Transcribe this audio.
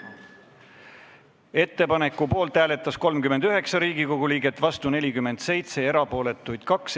Hääletustulemused Ettepaneku poolt hääletas 39 Riigikogu liiget, vastu oli 47, erapooletuid 2.